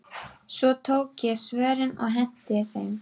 Svo tók ég svörin og henti þeim.